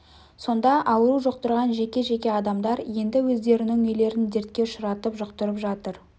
сонда ауру жұқтырған жеке-жеке адамдар енді өздерінің үйлерін дертке ұшыратып жұқтырып жатыр